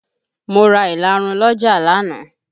Mo ra ìlarun lọ́jà lánàá